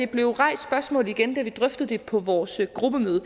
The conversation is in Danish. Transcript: blev rejst igen da vi drøftede det på vores gruppemøde